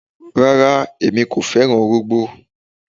Rárá, emi kò fẹran orógbó